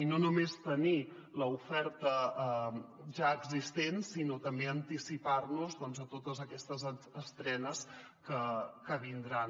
no només tenir l’oferta ja existent sinó també anti·cipar·nos a totes aquestes estrenes que vindran